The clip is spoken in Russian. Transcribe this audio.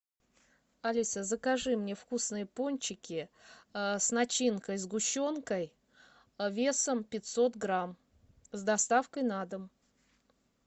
алиса закажи мне вкусные пончики с начинкой сгущенкой весом пятьсот грамм с доставкой на дом